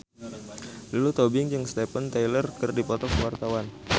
Lulu Tobing jeung Steven Tyler keur dipoto ku wartawan